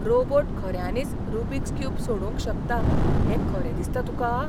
Robot खऱ्यांनीच Rubik's cube सोडोवंक शकता हें खरें दिसता तुकां?